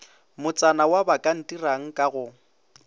motsana wa bakantirang ka go